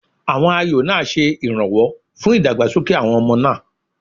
Àwọn ayò náà ṣe ìrànwọ́ fún ìdàgbàsókè àwọn ọmọ náà.